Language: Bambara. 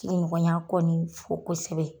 Sigiɲɔgɔnya kɔni fo kosɛbɛ.